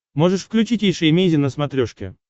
можешь включить эйша эмейзин на смотрешке